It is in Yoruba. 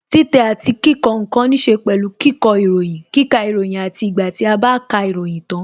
Títẹ̀ àti kíkọ ǹkan níse pẹ̀lú kíkọ ìròyìn, kíkà ìròyìn àti ìgbà tí a bá ka ìròyìn tan